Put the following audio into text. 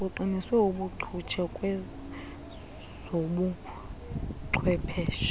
kuqiniswe ubuncutshe kwezobuchwepheshe